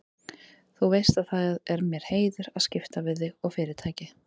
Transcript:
Þú veist að það er mér heiður að skipta við þig og Fyrirtækið.